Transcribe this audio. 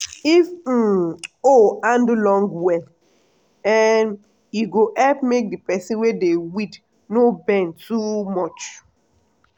if um hoe handle long well um e go help make the person wey dey weed no bend too much.